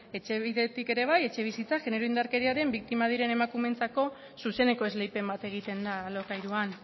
etxebidetik ere bai etxebizitza genero indarkeriaren biktima diren emakumeentzako zuzeneko esleipen bat egiten da alokairuan